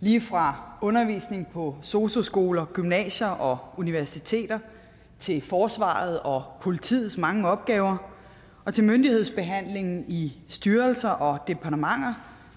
lige fra undervisning på sosu skoler gymnasier og universiteter til forsvarets og politiets mange opgaver og til myndighedsbehandling i styrelser og departementer